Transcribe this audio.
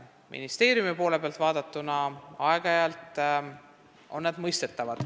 Ministeeriumi poole pealt vaadatuna on see aeg-ajalt mõistetav.